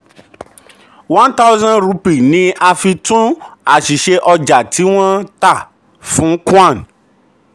one thousand rupee ni a fi túnṣe àṣìṣe ọjà tí wọ́n tà fún khan.